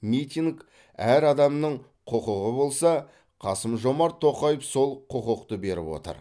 митинг әр адамның құқығы болса қасым жомарт тоқаев сол құқықты беріп отыр